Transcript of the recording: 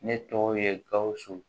Ne tɔgɔ ye gawusu